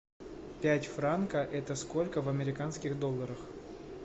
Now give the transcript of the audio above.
пять франков это сколько в американских долларах